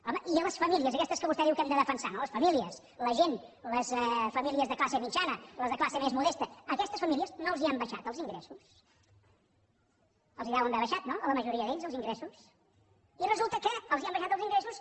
home i a les famílies a aquestes que vostè diu que hem de defensar les famílies la gent les famílies de classe mitjana les de classe més modesta a aquestes famílies no els han baixat els ingressos els deuen haver baixat no a la majoria d’ells els ingressos i resulta que els han baixat els ingressos